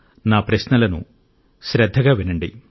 నా ప్రశ్నలను శ్రద్ధగా వినండి